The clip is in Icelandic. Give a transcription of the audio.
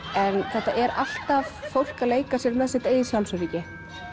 þetta er alltaf fólk að leika sér með sitt eigið sjálfsöryggi